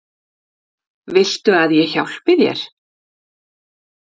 Viltu að ég hjálpi þér?